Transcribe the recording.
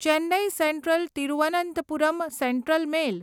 Chennai central Thiruvananthapuram central mail